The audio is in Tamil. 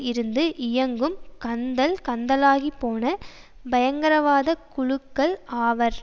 இருந்து இயங்கும் கந்தல் கந்தலாகிப்போன பயங்கரவாத குழுக்கள் ஆவர்